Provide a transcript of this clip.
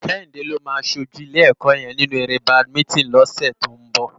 Kehinde ló má ṣójú ilé èkò yèn ninú éré bádimintin lòsè tó n bò